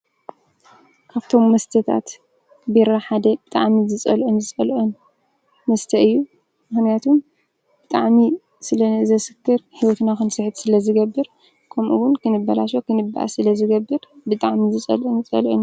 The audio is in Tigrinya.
ካብቶም መስተታት ቢራ ሓደ ብጣዕሚ ዝጸልኦን ዝጸልኦን መስተ እዩ ምክንያቱም ብጣዕሚ ስለዘስክር ሂወትና ክንስሕት ስለዝገብር ከምኡ ዉን ክንባላሾ ክንብባኣስ ስለዝገብር ብጣዕሚ ዝጸልኦን ዝጸልኦን እየ።